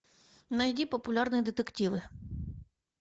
найди популярные детективы